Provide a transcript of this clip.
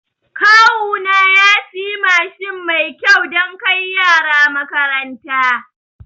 Kawuna ya siya Mashin mai kyau dan kai yara makaranta